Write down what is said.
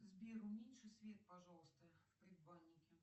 сбер уменьши свет пожалуйста в предбаннике